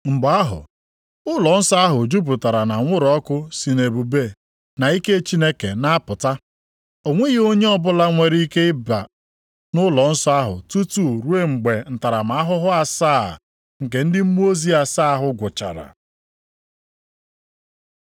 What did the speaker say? Mgbe ahụ ụlọnsọ ahụ jupụtara nʼanwụrụ ọkụ si nʼebube na ike Chineke na-apụta. O nweghị onye ọbụla nwere ike ịba nʼụlọnsọ ahụ tutu ruo mgbe ntaramahụhụ asaa nke ndị mmụọ ozi asaa ahụ gwụchara.